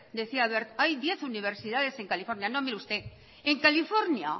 decía wert hay diez universidades en california no mire usted en california